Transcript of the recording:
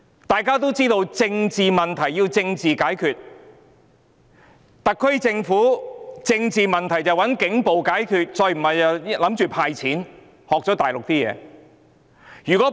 大家都知道，"政治問題，政治解決"，特區政府卻想"政治問題，警暴解決"，要不然便打算"派錢"，學了大陸的處事方式。